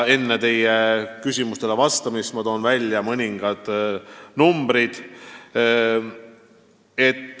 Enne küsimustele vastamist toon välja mõningad arvud.